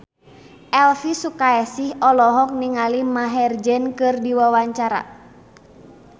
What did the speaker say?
Elvi Sukaesih olohok ningali Maher Zein keur diwawancara